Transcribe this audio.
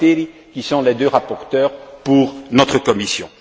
Gualtieri, qui sont les deux rapporteurs pour notre commission.